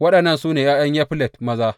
Waɗannan su ne ’ya’yan Yaflet maza.